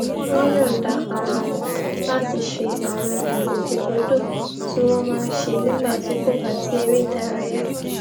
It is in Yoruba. wón yòǹda ara wọn láti ṣe àwọn ìgbòkègbodò tí wón máa ń ṣe nígbà tí kò bá sí eré ìdárayá